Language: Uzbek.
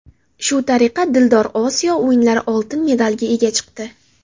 Shu tariqa Dildor Osiyo o‘yinlari oltin medaliga ega chiqdi.